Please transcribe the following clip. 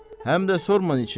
Həm də sorma niçin.